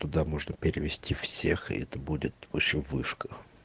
туда можно перевести всех и это будет вообще вышка